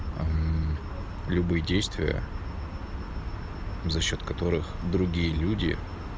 а любые действия за счёт которых другие люди